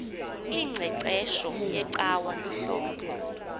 ingqeqesho yecawa luhlobo